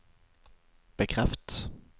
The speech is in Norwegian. bekreft